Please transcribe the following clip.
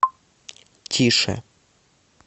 тише